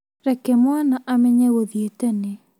Reke mwana amenye gũthiĩ tene